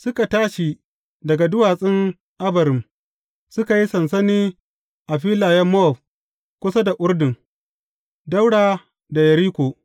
Suka tashi daga duwatsun Abarim, suka yi sansani a filayen Mowab kusa da Urdun, ɗaura da Yeriko.